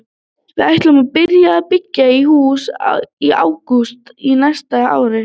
Við ætlum að byrja að byggja í hús í ágúst á næsta ári.